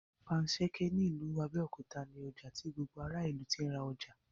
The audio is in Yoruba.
Panṣẹ́kẹ́ ní ìlú Abẹ́òkúta ní ọjà tí gbogbo ará ìlú tí ń ra ọjà